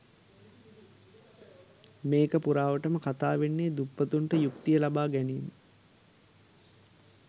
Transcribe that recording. මේක පුරාවටම කතා වෙන්නේ දුප්පතුන්ට යුක්තිය ලබා ගැනීම